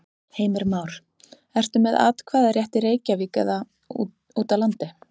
Heimir Már: Ertu með atkvæðarétt í Reykjavík eða út á landi?